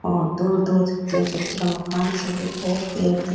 और दूर दूर छोटे छोटिया मकान सा दिखे पेड़ दिखे।